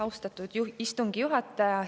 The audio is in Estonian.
Austatud istungi juhataja!